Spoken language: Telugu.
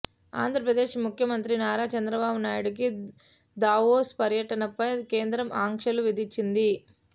ఆంధ్రప్రదేశ్ ముఖ్యమంత్రి నారా చంద్రబాబు నాయుడి దావోస్ పర్యటనపై కేంద్రం ఆంక్షలు విధించింది